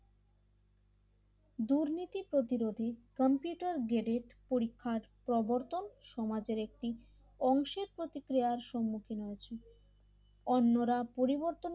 দুর্নীতি প্রতিরোধে computer graded পরীক্ষার প্রবর্তন সমাজের একটি অংশের প্রতিক্রিয়ার সম্মুখীন হয়েছে অন্যরা পরিবর্তন